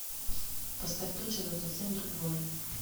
поставь тот же но совсем другой